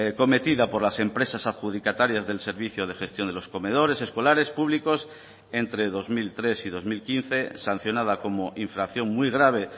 cometida por las empresas adjudicatarias del servicio de gestión de los comedores escolares públicos entre dos mil tres y dos mil quince sancionada como infracción muy grave